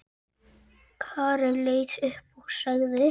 Karen leit upp og sagði